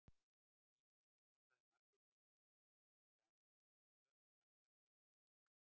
Dínamít er notað í margvíslegum tilgangi, til dæmis við námugröft, framkvæmdir og niðurrif.